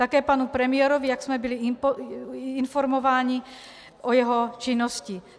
Také panu premiérovi, jak jsme byli informováni, za jeho činnost.